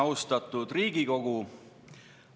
Austatud Riigikogu!